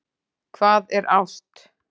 Hvað er ást